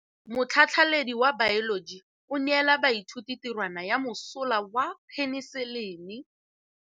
Motlhatlhaledi wa baeloji o neela baithuti tirwana ya mosola wa peniselene.